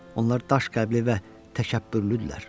Onlar daş qəlbli və təkəbbürlüdürlər.